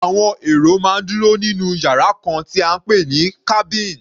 Àwọn èrò máa ń dúró nínú yàrá kan tí à ń pè ní cabin.